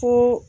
Ko